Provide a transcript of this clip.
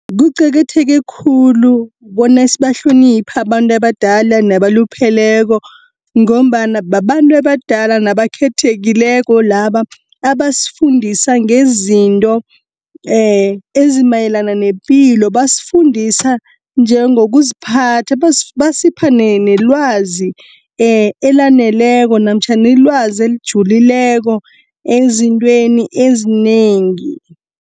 Kuqakatheke khulu bona sibahloniphe abantu abadala nabalupheleko ngombana babantu abadala nabakhethekileko laba abasfundisa ngezinto ezimayelana nepilo. Basifundisa njengokuziphatha, basipha nelwazi elaneleko namtjhana ilwazi elijulileko ezintweni ezinengi.